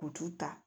U t'u ta